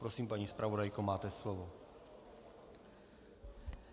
Prosím, paní zpravodajko, máte slovo.